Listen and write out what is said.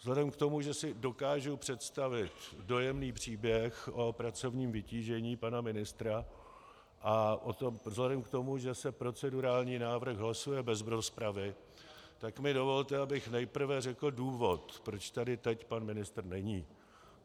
Vzhledem k tomu, že si dokážu představit dojemný příběh o pracovním vytížení pana ministra, a vzhledem k tomu, že se procedurální návrh hlasuje bez rozpravy, tak mi dovolte, abych nejprve řekl důvod, proč tady teď pan ministr není.